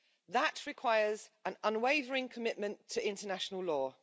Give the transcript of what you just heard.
That requires an unwavering commitment to international law.